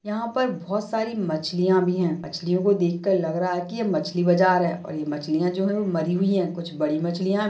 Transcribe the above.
यहा पर बहुत सारी मछलिया भी है। मछलियों कों देखकर लग रहा है की मछली बाज़ार है और ये मछलिया जो है वो मरी हुई है। कुछ बड़ी मछलिया--